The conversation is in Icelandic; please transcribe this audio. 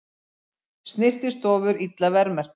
Snyrtistofur illa verðmerktar